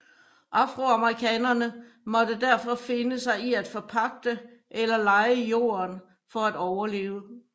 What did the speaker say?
Afroamerikanerne måtte derfor finde sig i at forpagte eller leje jorden for at overleve